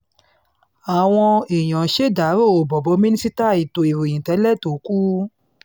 àwọn èèyàn ṣèdàrọ́ boboh mínísítà ètò ìròyìn tẹ́lẹ̀ tó kù